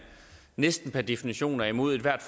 næsten per definition er imod ethvert